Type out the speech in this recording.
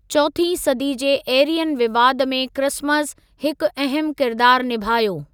चौथीं सदी जे एरियन विवाद में क्रिसमस हिकु अहम किरदार निभायो।